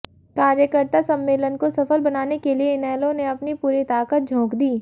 कार्यकर्ता सम्मेलन को सफल बनाने के लिए इनेलो ने अपनी पूरी ताकत झोंक दी